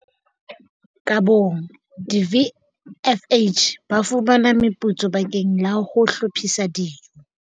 Ka bong, di-VFH ba fumana meputso bakeng la ho hlophisa dijo.